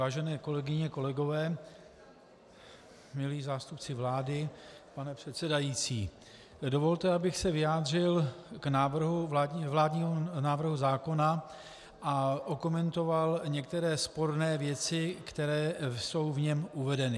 Vážené kolegyně, kolegové, milí zástupci vlády, pane předsedající, dovolte, abych se vyjádřil k vládnímu návrhu zákona a okomentoval některé sporné věci, které jsou v něm uvedeny.